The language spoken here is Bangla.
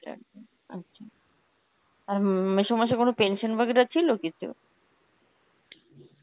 আচ্ছা আর উম মেসোমশাই কোন pension Hindi ছিল কিছু?